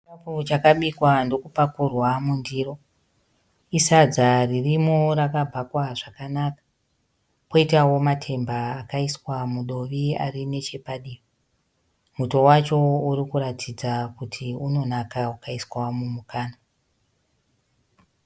Chikafu chakabikwa ndokupakurwa mundiro. Isadza ririmo rakabhakwa zvakanaka. Koitawo matemba akaiswa mudovi ari nechepadivi. Muto wacho uri kuratidza kuti unonaka ukaiswa mumukanwa.